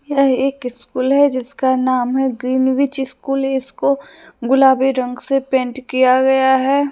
यह एक स्कूल है जिसका नाम है ग्रीनविच स्कूल इसको गुलाबी रंग से पेंट किया गया है।